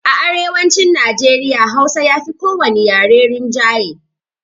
A arewacin Najeriya hausa yafi ko wani yare rinjaye